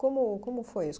Como como foi isso?